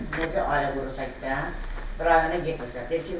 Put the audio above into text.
Dedim ki, bəs niyə ailə quracağıq sən rayona getmirsən?